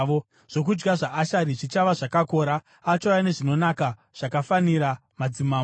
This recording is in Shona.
“Zvokudya zvaAsheri zvichava zvakakora; achauya nezvinonaka zvakafanira madzimambo.